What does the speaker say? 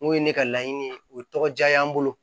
N'o ye ne ka laɲini ye o tɔgɔ diya'an bolo